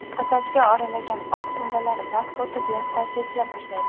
Sochga oralagan oq tolalar vaqt o‘tib yaqqol sezila boshlaydi.